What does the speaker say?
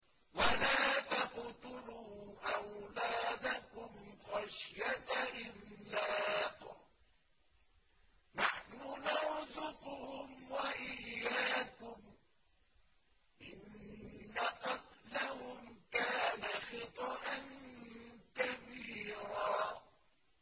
وَلَا تَقْتُلُوا أَوْلَادَكُمْ خَشْيَةَ إِمْلَاقٍ ۖ نَّحْنُ نَرْزُقُهُمْ وَإِيَّاكُمْ ۚ إِنَّ قَتْلَهُمْ كَانَ خِطْئًا كَبِيرًا